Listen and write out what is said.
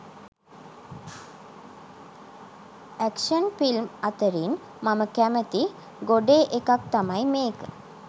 Action film අතරින් මම කැමති ගොඩේ එකක් තමයි මේක.